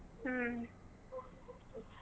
ಹ್ಮ್ .